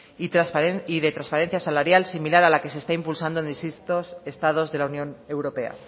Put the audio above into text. y de transparencia salarial sin mirar a la que se está impulsando desde distintos estados de la unión europea